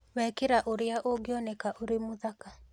Wekera Ũrĩa Ũngĩoneka Ũrĩ Mũthaka